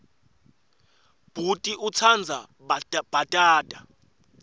bhuti utsandza bhatata